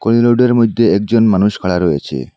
ওই রোডের মইধ্যে একজন মানুষ খাড়া রয়েছে।